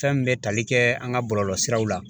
Fɛn min bɛ tali kɛ an ka bɔlɔlɔ siraw la.